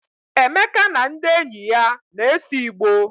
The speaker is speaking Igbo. Emeka na ndị enyi ya na-ese igbo.